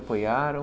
Apoiaram?